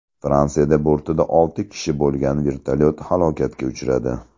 Fransiyada bortida olti kishi bo‘lgan vertolyot halokatga uchradi.